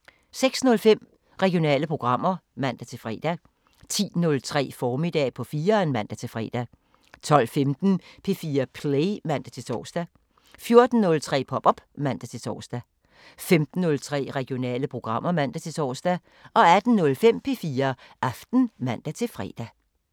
06:05: Regionale programmer (man-fre) 10:03: Formiddag på 4'eren (man-fre) 12:15: P4 Play (man-tor) 14:03: Pop op (man-tor) 15:03: Regionale programmer (man-tor) 18:05: P4 Aften (man-fre)